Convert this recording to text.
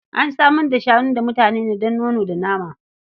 An samar da shanu ga mutane ne don nono da nama.